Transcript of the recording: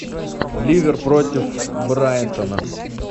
ливер против брайтона